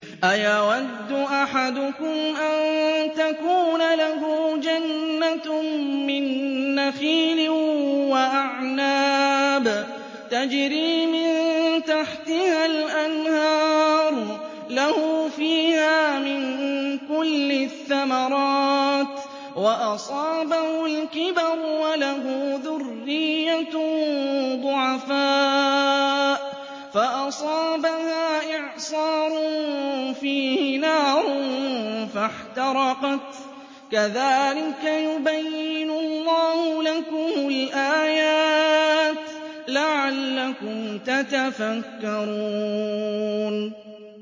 أَيَوَدُّ أَحَدُكُمْ أَن تَكُونَ لَهُ جَنَّةٌ مِّن نَّخِيلٍ وَأَعْنَابٍ تَجْرِي مِن تَحْتِهَا الْأَنْهَارُ لَهُ فِيهَا مِن كُلِّ الثَّمَرَاتِ وَأَصَابَهُ الْكِبَرُ وَلَهُ ذُرِّيَّةٌ ضُعَفَاءُ فَأَصَابَهَا إِعْصَارٌ فِيهِ نَارٌ فَاحْتَرَقَتْ ۗ كَذَٰلِكَ يُبَيِّنُ اللَّهُ لَكُمُ الْآيَاتِ لَعَلَّكُمْ تَتَفَكَّرُونَ